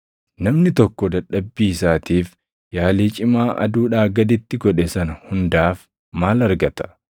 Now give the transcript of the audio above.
Namni tokko dadhabbii isaatiif yaalii cimaa aduudhaa gaditti godhe sana hundaaf maal argata?